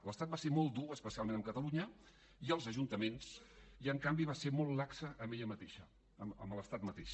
l’estat va ser molt dur especialment amb catalunya i els ajuntaments i en canvi va ser molt laxa amb ell mateixa amb l’estat mateix